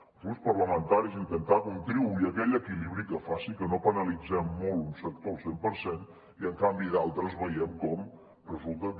els grups parlamentaris hem d’intentar contribuir a aquell equilibri que faci que no penalitzem molt un sector al cent per cent i en canvi d’altres veiem com resulta que